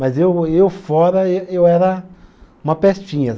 Mas eu eu fora, ê eu era uma pestinha.